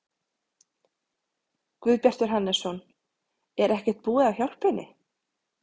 Guðbjartur Hannesson: Er ekkert búið að hjálpa henni?